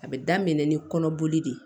A bɛ daminɛ ni kɔnɔboli de ye